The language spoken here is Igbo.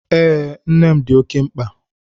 Ee, nne dị oké mkpa